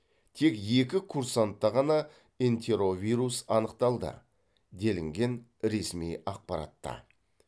тек екі курсантта ғана энтеровирус анықталды делінген ресми ақпаратта